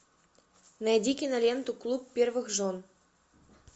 найди киноленту клуб первых жен